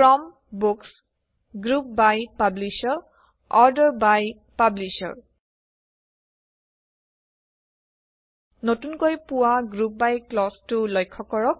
from books group by publisher order by publisher নতুনকৈ পোৱা group by ক্লজটো লক্ষ্য কৰক